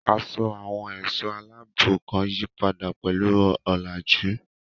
Aṣọ àwọn ẹ̀ṣọ́ aláàbò kan yípadà pẹ̀lú ọ̀làjú.